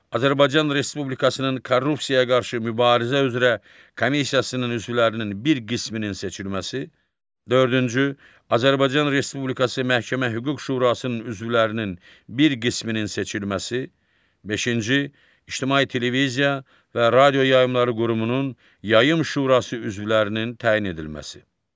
Azərbaycan Respublikasının Korrupsiyaya qarşı mübarizə üzrə Komissiyasının üzvlərinin bir qisminin seçilməsi, dördüncü, Azərbaycan Respublikası Məhkəmə Hüquq Şurasının üzvlərinin bir qisminin seçilməsi, beşinci, İctimai Televiziya və Radio Yayımçıları Qurumunun Yayım Şurası üzvlərinin təyin edilməsi.